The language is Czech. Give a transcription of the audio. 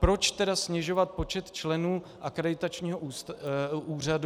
Proč tedy snižovat počet členů akreditačního úřadu?